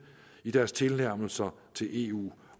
i deres tilnærmelser til eu